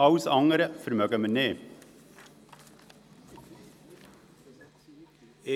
Alles andere können wir uns nicht leisten.